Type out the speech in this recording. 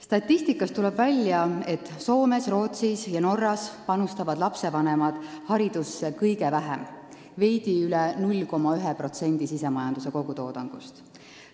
Statistikast tuleb välja, et Soomes, Rootsis ja Norras panustavad lastevanemad haridusse kõige vähem, veidi üle 0,1% SKT-st.